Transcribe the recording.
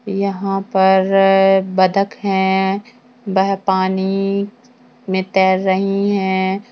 यहां पर बत्तख है वह पानी में तैर रही हैं।